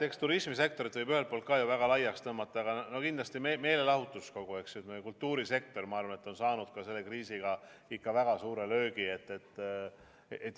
Eks turismisektorit võib ühelt poolt ka ju väga laiaks tõmmata, aga kindlasti meelelahutus, kogu kultuurisektor, erinevad kultuurivormid on saanud selle kriisiga ikka väga suure löögi.